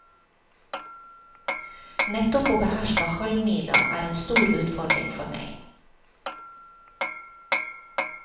Nettopp å beherske halvmila er en stor utfordring for meg.